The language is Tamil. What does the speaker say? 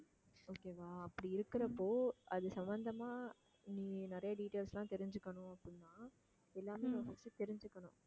okay வா அப்படி இருக்கறப்போ அது சம்பந்தமா நீ நிறைய details லாம் தெரிஞ்சுக்கணும் அப்படின்னா எல்லாமே first தெரிஞ்சுக்கணும்